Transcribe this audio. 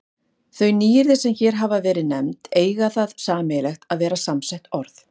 Þau nýyrði, sem hér hafa verið nefnd, eiga það sameiginlegt að vera samsett orð.